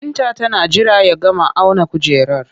Binta tana jira ya gama auna kujerar